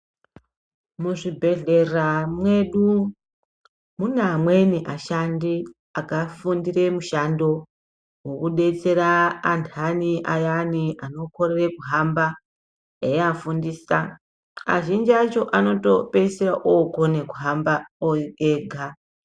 Muzvibhehlera mwedu mune amweni ashandi vakafundira mushando wekudetsera anthani ayani asikakoni kuhamba ,eivafundisa, azhinji akhona anopeisira okona kuhamba ega.